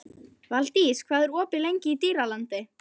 Valdís, hvað er lengi opið í Dýralandi?